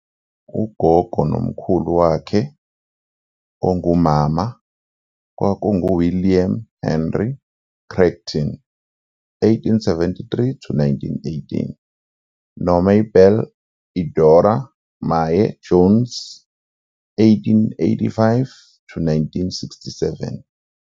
Ugogo nomkhulu wakhe ongumama kwakunguWilliam Henry Creighton,1873-1918, noMabel Eudora "Mae" Jones,1885-1967.